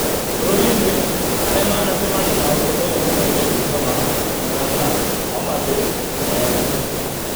Bũrũri inĩ , arĩa manacemania na ũndũ ũyũ mũno nĩ Bungoma, Murang’a , Homa bay na Embu